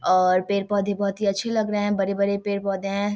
और पेड़ पौधे बहुत ही अच्छे लग रहे है बड़े-बड़े पेड़ पौधे है।